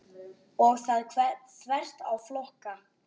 Og það þvert á flokka.